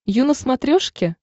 ю на смотрешке